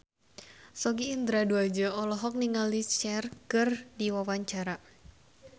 Sogi Indra Duaja olohok ningali Cher keur diwawancara